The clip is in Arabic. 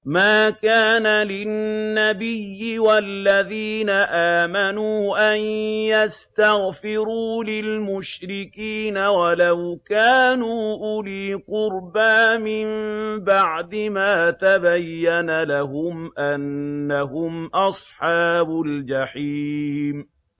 مَا كَانَ لِلنَّبِيِّ وَالَّذِينَ آمَنُوا أَن يَسْتَغْفِرُوا لِلْمُشْرِكِينَ وَلَوْ كَانُوا أُولِي قُرْبَىٰ مِن بَعْدِ مَا تَبَيَّنَ لَهُمْ أَنَّهُمْ أَصْحَابُ الْجَحِيمِ